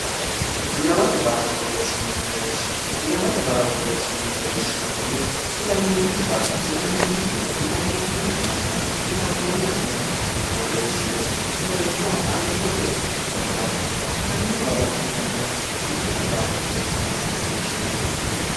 ilamate barra borreessinanni mereersh ilamate barra borreessinanni mereersha konne ilammoonni barra ilammoonni diro ilammoonni yannanna ilammoonni agana borreessine manchoha alimate barrasi ilamino barra kullanniha ilamate barra borreersinanni mereersha yine su'minanni